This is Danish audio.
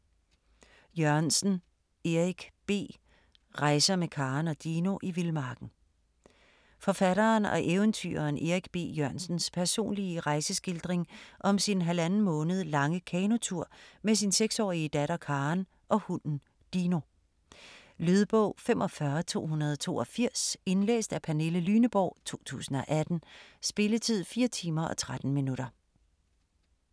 Jørgensen, Erik B.: Rejser med Karen og Dino i vildmarken Forfatteren og eventyreren Erik B. Jørgensens personlige rejeskildring om sin halvanden måned lange kanotur med sin 6-årige datter Karen og hunden Dino. Lydbog 45282 Indlæst af Pernille Lyneborg, 2018. Spilletid: 4 timer, 13 minutter.